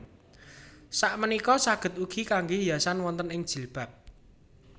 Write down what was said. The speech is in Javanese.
Sapunika saged ugi kangge hiasan wonten ing jilbab